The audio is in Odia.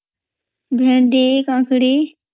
ଭେଣ୍ଡି କଂକଡି